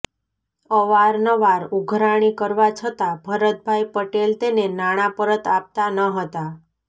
અવારનવાર ઉઘરાણી કરવા છતાં ભરતભાઈ પટેલ તેને નાણાં પરત આપતા ન હતા